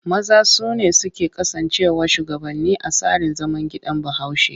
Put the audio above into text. Maza su ne suke kasancewa shugabanni a tsarin zaman gidan Bahaushe.